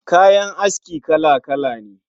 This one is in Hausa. Kayan aski kala-kala ne